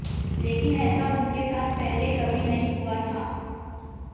लेकिन ऐसा उनके साथ पहले कभी नहीं हुआ था